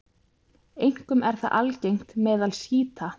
Einkum er það algengt meðal sjíta.